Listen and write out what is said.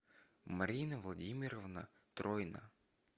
марина владимировна тройна